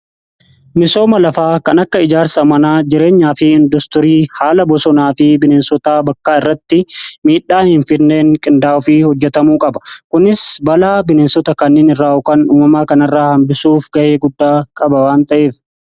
Misooma lafaa kan akka ijaarsa manaa jireenyaa fi industirii haala bosonaa fi bineensotaa bakkaa irratti miidhaa hin fidneen qindaa'uu fi hojjetamuu qaba. Kunis balaa bineensota kanneen irraan ga'u yookiin uumamaa kana irraa hambisuuf ga'ee guddaa qaba waan ta'eef.